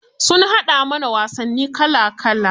Sun haɗa mana wasanni kala kala.